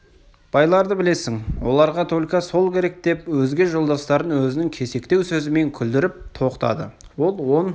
байларды білесің оларға только сол керек деп өзге жолдастарын өзінің кесектеу сөзімен күлдіріп тоқтады ол он